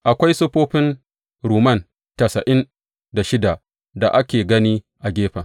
Akwai siffofin rumman tasa’in da shida da ake gani a gefen.